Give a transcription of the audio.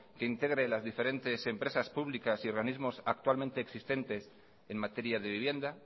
que integre las diferentes empresas públicas y organismos actualmente existentes en materia de vivienda